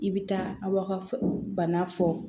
I bɛ taa aw ka bana fɔ